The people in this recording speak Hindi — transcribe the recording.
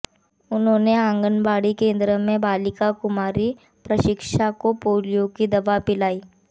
उन्होने आंगनबाड़ी केन्द्र में बालिका कुमारी प्राशिका को पोलियों की दवा पिलाई